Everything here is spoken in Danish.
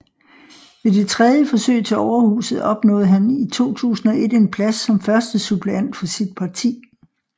Ved det tredje forsøg til Overhuset opnåede han i 2001 en plads som første suppleant for sit parti